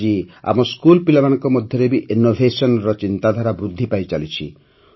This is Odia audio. ଆଜି ଆମ ସ୍କୁଲ ପିଲାମାନଙ୍କ ମଧ୍ୟରେ ବି ଇନ୍ନୋଭେସନ୍ର ଚିନ୍ତାଧାରା ବୃଦ୍ଧି ପାଇଚାଲିଛି